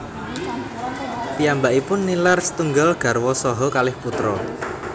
Piyambakipun nilar setunggal garwa saha kalih putra